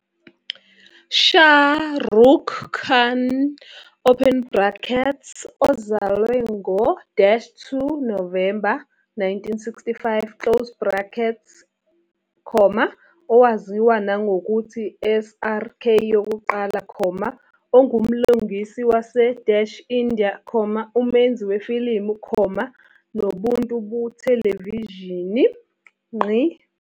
Shah Rukh Khan open bracketsozalwe ngo-2 Novemba 1965closed bracket, owaziwa nangokuthi SRK yokuqala, ungumlingisi wase-India, umenzi wefilimu, nobuntu bethelevishini.